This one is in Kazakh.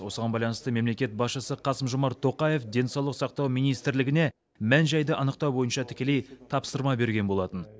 осыған байланысты мемлекет басшысы қасым жомарт тоқаев денсаулық сақтау министрлігіне мән жайды анықтау бойынша тікелей тапсырма берген болатын